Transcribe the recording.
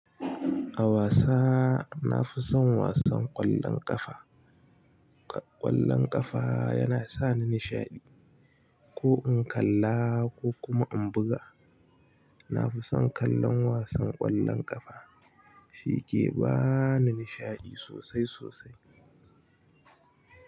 A wasa nafi son wasan ƙwallon ƙafa. Ƙwallon ƙafa yana sa ni nishaɗi. Ko in kalla ko kuma in buga. Na fi son kallon wasan ƙwallon ƙafa shi ke bani nishaɗi sosai sosai.